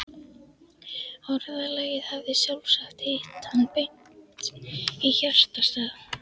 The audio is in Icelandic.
Orðalagið hafði sjálfsagt hitt hann beint í hjartastað.